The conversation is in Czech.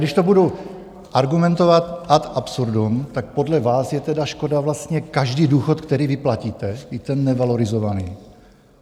Když to budu argumentovat ad absurdum, tak podle vás je tedy škoda vlastně každý důchod, který vyplatíte, byť ten nevalorizovaný.